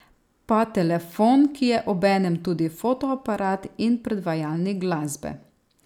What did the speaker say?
Pa telefon, ki je obenem tudi fotoaparat in predvajalnik glasbe.